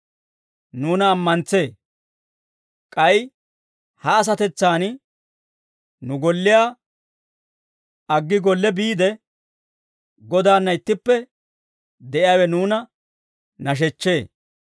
Nuuna ammantsee; k'ay ha asatetsan nu golliyaa aggi golle biide Godaanna ittippe de'iyaawe nuuna nashechchee.